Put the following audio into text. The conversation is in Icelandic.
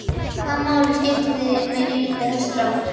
Hvaða máli skiptir mig líka þessi strákur?